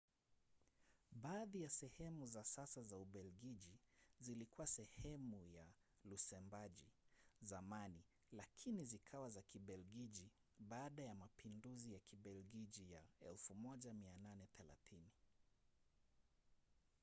baadhi ya sehemu za sasa za ubelgiji zilikuwa sehemu ya lusembagi zamani lakini zikawa za kibelgiji baada ya mapinduzi ya kibelgiji ya 1830